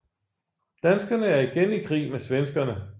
Danskerne er igen i krig med svenskerne